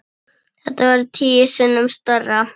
Þetta verður tíu sinnum stærra.